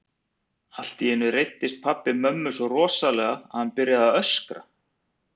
Allt í einu reiddist pabbi mömmu svo rosalega að hann byrjaði að öskra.